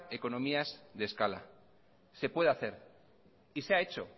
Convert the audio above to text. economías de escala se puede hacer y se ha hecho